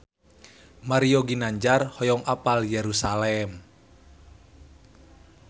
Mario Ginanjar hoyong apal Yerusalam